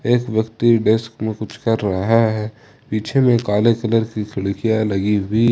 एक ब्यक्ति डेस्क मे कुछ कर रहे हैं पीछे में काले कलर की खिड़कियां लगी हुई--